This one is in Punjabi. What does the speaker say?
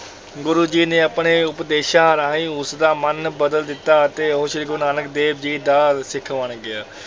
ਗੁਰੂ ਜੀ ਨੇ ਆਪਣੇ ਉਪਦੇਸ਼ਾਂ ਰਾਹੀਂ ਉਸਦਾ ਮਨ ਬਦਲ ਦਿੱਤਾ ਅਤੇ ਉਹ ਸ੍ਰੀ ਗੁਰੂ ਨਾਨਕ ਦੇਵ ਜੀ ਦਾ ਸਿੱਖ ਬਣ ਗਿਆ।